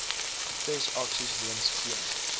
protesaksies weens geen